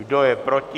Kdo je proti?